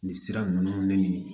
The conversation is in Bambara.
Nin sira ninnu de nin